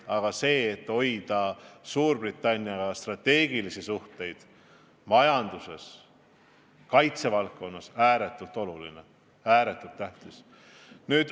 Aga eesmärk hoida Suurbritanniaga strateegilisi suhteid majanduses ja kaitsevaldkonnas on ääretult oluline, ääretult tähtis.